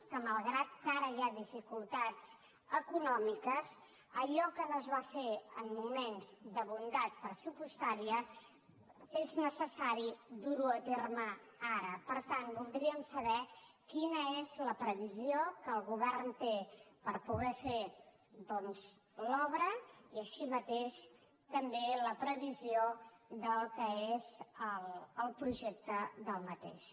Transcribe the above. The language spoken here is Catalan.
malgrat que ara hi ha dificultats econòmiques i que allò que no es va fer en moments de bondat pressupostària és necessari dur ho a terme ara per tant voldríem saber quina és la previsió que el govern té per poder fer doncs l’obra i així mateix també la previsió del que és el projecte d’aquesta